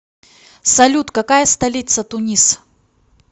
салют какая столица тунис